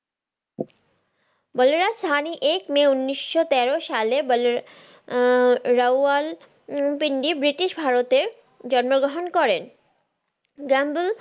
বলরাজ সাহানি এক মে উনিশশো তেরো সালে বল আহ রাওয়াল উম পিন্ডি ব্রিটিশ ভারতে জন্মগ্রহন করেন